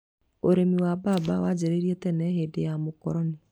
Ũrĩmi wa mbamba wanjĩrĩirie tene hĩndĩ ya mũkoroni.